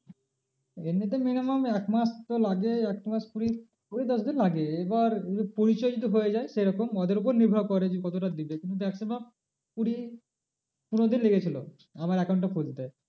এমনিতে minimum একমাস তো লাগেই একমাস কুড়ি, কুড়ি দশ দিন লাগে এবার পরিচয় যদি হয়ে যায় সেরকম ওদের ওপর নির্ভর করে যে কতটা দেবে কিন্তু maximum কুড়ি পনেরো দিন লেগেছিলো আমার account টা খুলতে।